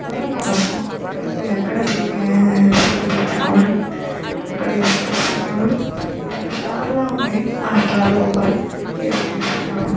ఎవరు అణా నువ్వు పై పెఇ అక్కడ దిగి ఫోటో దిగుతున్నావు అక్కడ ఏసు క్రీసు వున్నాడు అది వక స్టార్ లాగా ఉనది అ స్టార్ లోపల ఎసుక్రిసు వున్నాడు .